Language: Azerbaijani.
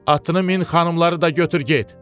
Atını min xanımları da götür get.